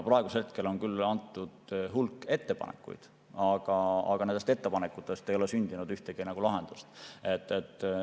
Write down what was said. Praeguseks on küll tehtud hulk ettepanekuid, aga nendest ettepanekutest ei ole sündinud ühtegi lahendust.